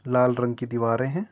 लाल रंग की दीवारे हैं।